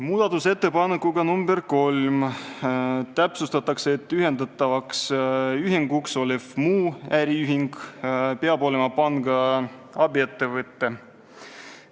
Muudatusettepanekuga nr 3 täpsustatakse, et ühendatavaks ühinguks olev "muu äriühing" peab olema panga abiettevõte.